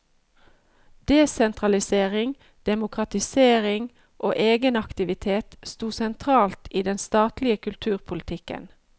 Desentralisering, demokratisering og egenaktivitet sto sentralt i den statlige kulturpolitikken.